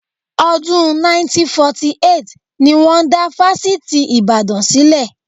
Ọdún 1948 ni wọn dá Fásitì Ibadan sílẹ̀